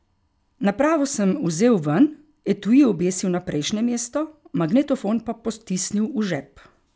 Napravo sem vzel ven, etui obesil na prejšnje mesto, magnetofon pa potisnil v žep.